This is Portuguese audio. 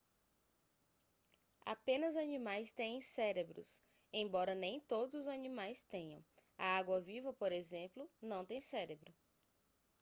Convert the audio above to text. apenas animais têm cérebros embora nem todos os animais tenham; a água-viva por exemplo não tem cérebro